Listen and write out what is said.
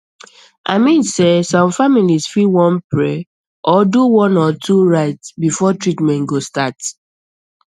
i mean sey some families fit want pray or do one or two rites before treatment go start